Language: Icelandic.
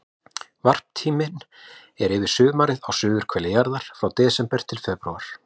Varptíminn er yfir sumarið á suðurhveli jarðar, frá desember til febrúar.